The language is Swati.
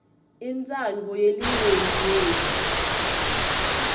intsandvo yelinyenti yetfu